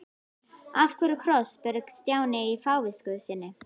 Af hverju kross? spurði Stjáni í fávisku sinni.